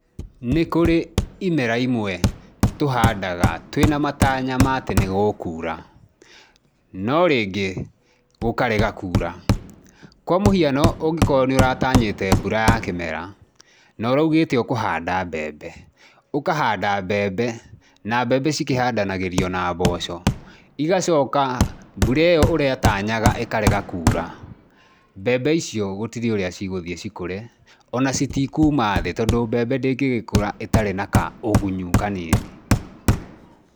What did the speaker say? Nĩ kũrĩ imera imwe tũhandaga twĩna matanya ma atĩ nĩ gũkuura, no rĩngĩ gũkarega kuura. Kwa mũhiano ũngĩkorwo nĩ ũratanyĩte mbura ya kĩmera, na ũraugĩte ũkũhanda mbembe. Ũkahanda mbembe, na mbembe cikĩhandanagĩrio na mboco, igacoka mbura ĩyo ũratanyaga ĩkarega kuura. Mbembe icio gũtirĩ urĩa cigũthiĩ cikũre, o na citikuuma thĩ tondũ mbembe ndĩngĩgĩkũra ĩtarĩ na kaũgunyũ kanini.